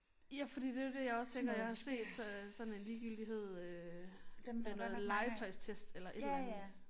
Ja fordi det er jo det jeg også tænker jeg har set så sådan en ligegyldighed øh med noget legetøjstest eller et eller andet